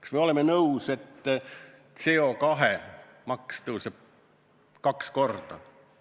Kas me oleme nõus, et CO2 maks tõuseb kaks korda?